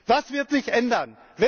Was wird sich ändern?